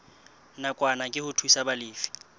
nakwana ke ho thusa balefi